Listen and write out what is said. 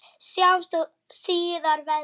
Sjáumst þó síðar verði.